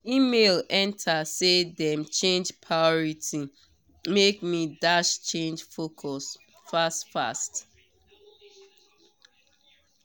email enter say dem change priority make me dash change focus fast fast